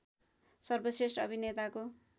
सर्वश्रेष्ठ अभिनेताको